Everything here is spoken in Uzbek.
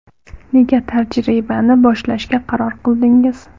Nega tajribani boshlashga qaror qildingiz?